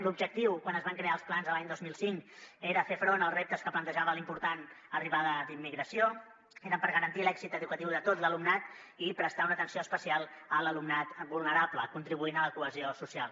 l’objectiu quan es van crear els plans l’any dos mil cinc era fer front als reptes que plantejava l’important arribada d’immigració eren per garantir l’èxit educatiu de tot l’alumnat i prestar una atenció especial a l’alumnat vulnerable contribuint a la cohesió social